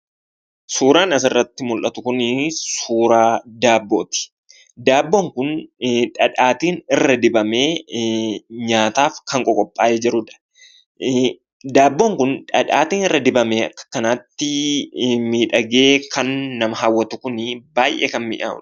Suuraan asirratti mullatu kunii suuraa daabbooti. Daabboon kun dhadhaatiin irra dibamee nyaataaf kan qoqophaa'ee jirudha . Daabboon kun dhadhaatiin irra dibamee akka kanaatti miidhagee kan nama hawwatu kunii baay'ee kan mi'aawudha.